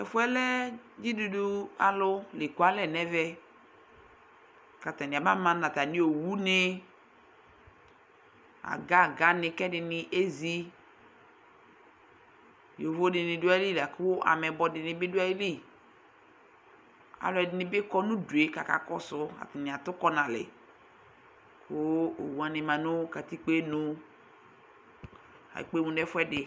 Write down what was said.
Tʋ ɛfʋ yɛ lɛ dzidudu alʋ la ekualɛ nʋ ɛmɛ kʋ atanɩ abama nʋ atamɩ owunɩ, aga-aganɩ kʋ ɛdɩnɩ ezi Yovo dɩnɩ dʋ ayili la kʋ ameyibɔ dɩnɩ bɩ dʋ ayili Alʋɛdɩnɩ bɩ kɔ nʋ udu yɛ kʋ akakɔsʋ Atanɩ atʋkɔ nʋ alɛ kʋ owanɩ ma nʋ katikpo yɛ nu Ekpe emu nʋ ɛfʋɛdɩ